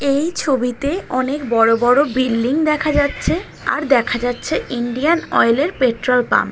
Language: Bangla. এই ছবিতে অনেক বড়ো বড়ো বিল্ডিং দেখা যাচ্ছে। আর দেখা যাচ্ছে ইন্ডিয়ান অয়েল -এর পেট্রল পাম্প ।